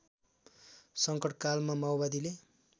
सङ्कटकालमा माओवादीले